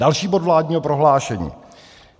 Další bod vládního prohlášení.